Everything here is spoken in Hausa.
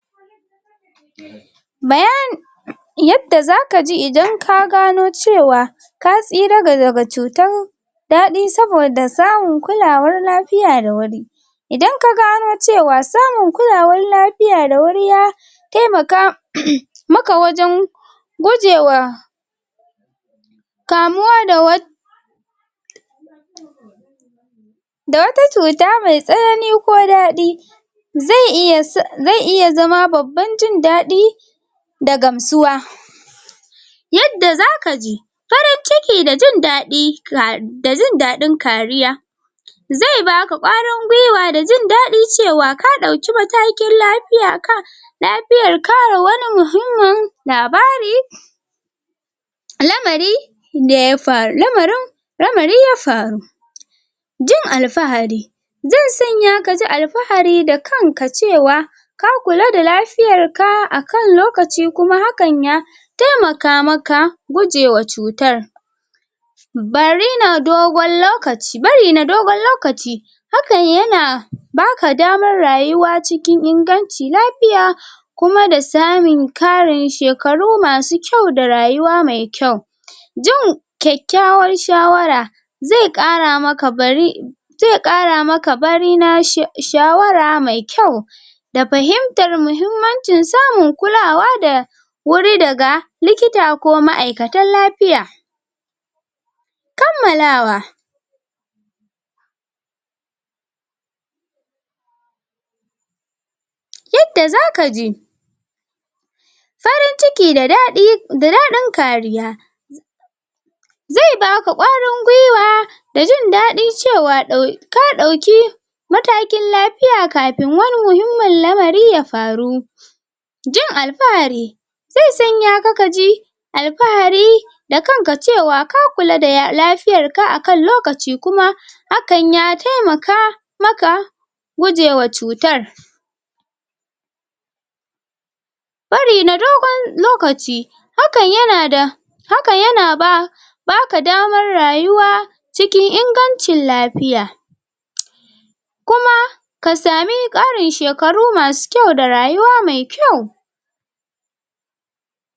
yadda zaka ji idan ka gano cewa ka tsira ga daga cutan daɗi saboda samun kulawar lafiya dawuri idan kagano cewa samun kulawar lafiya da wuri ya temaka maka wajan gujewa kamuwa da wat da wata cuta mai tsanani ko daɗi z iya sa]um] ze iya zama babban jin daɗi da gamsuwa yadda zaka ji farin ciki da jin daɗi ka[um] da jin daɗin kariya ze baka kwarin gwiwa da jin daɗi cewa ka ɗauki matakin lapiya ka lapiya kare wani muhimmin labari lamari daya faru lamarin lamari ya faru jin al'fahari ze sanya kaji al'fahari da kanka cewa ka kula da lafiyar ka akan lokaci kuma hakan ya temaka maka guje wa cutar bari na dogon lokaci. bari na digon lokaci hakan yana baka daman ruyawa cikin inganci lapiya kuma da samin karin shekaru masu kyau da rayuwa me kyau jin kyakyawar shawara ze ƙara maka bari ze kara maka bari na sha um shawara me kyau da fahimtar muhimmanci samun kulawa da wuri daga likita ko ma'aikatan lapiya kammalwa yadda zaka ji farin ciki da daɗi da daɗin kariya ze baka kwarin gwiwa da jin baɗi cewa ɗa ka ɗauki matakin lapiya kafin wani muhimmin lamari ya faru jin al'fahari ze sanyanka kaji al'fahari da kanka cewa ka kula da ya lapiyar akan lokaci kuma hakan ya temaka maka uje wa cutar bari na dogon lokaci hakan yana da hakan yana ba baka damar rayuwa cikn imgancin lapiya kuma ka sami ƙarin shekaru masu kyau da rayuwa me kyau